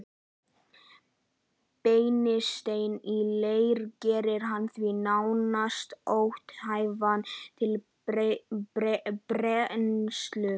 Brennisteinn í leir gerir hann því nánast ónothæfan til brennslu.